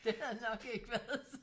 Det havde nok ikke været så